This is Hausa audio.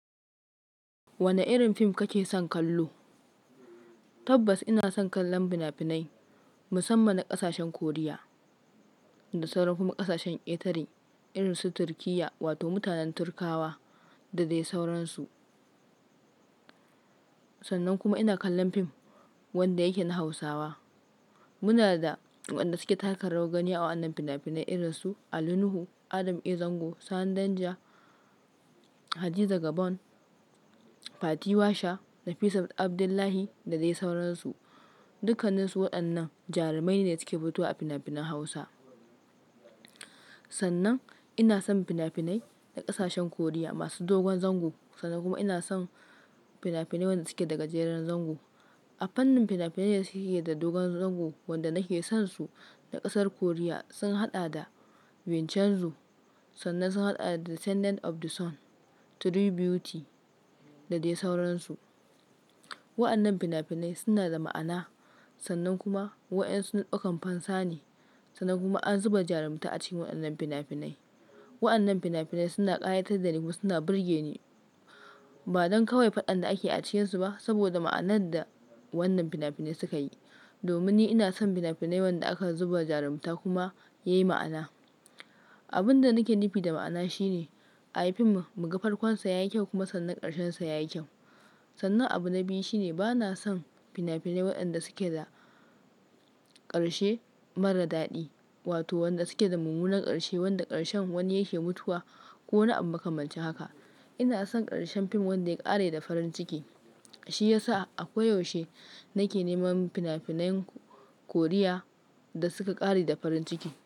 Wane irin film kake son kallo? Tabbas ina son kallon fina-finai musamman na ƙasashen Korea da sauran kuma ƙasashen ketare irin su Turkiyya wato mutanen Turkawa dadai sauransu. Sannan kuma ina kallon fim wanda yake na Hausawa. Muna da waɗanda suke taka rawar gani a wannan fina-finai irin su Ali Nuhu, Adam A. Zango, Sani Danja, Hadiza Gabon, Fati Washa, Nafisa Abdullahi da dai sauransu. Dukanninsu waɗannan jarumaine da suke fitowa fina-finan Hausa. Sannan ina son fina-finai na ƙasashen Koriya masu dogon zango. Sannan kuma ina son fina-finai waɗanda suke daga jerin zango. A fannin fina-finai da suke da dogon zango wanda nake son su na ƙasar Koriya sun haɗa da Vincenzo, sannan sun haɗa da Descendants of the Sun, True Beauty da dai sauransu. Waɗannan fina-finai suna da ma'ana. Sannan kuma waɗansu nadaukan fansa ne. Sannan kuma an zuba jarumta a cikin waɗannan fina-finai. Waɗannan fina-finai suna ƙayatar da ni kuma suna burge ni. Ba don kawai faɗan da ake a cikinsu ba saboda ma'anan da wannan fina-finai suka yi. Domin ni ina son fina-finai wanda aka zuba jarumta kuma yayi ma'ana. Abinda nake nufi da ma'ana shine ayi fim muga farkon sa yayi kyau kuma sannan ƙarshen sa yayi kyau. Sannan abu na biyu shine bana son fina-finai waɗanda suke da ƙarshe mara daɗi wato wanda suke da mummunan ƙarshe wanda ƙarshen wani yake mutuwa ko wani abu makamancin haka. Ina son ƙarshen fim wanda ya ƙare da farin ciki. Shi yasa ako yaushe nake neman fina-finayen Korea da suka ƙare da farin ciki.